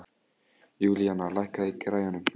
Júlíana, lækkaðu í græjunum.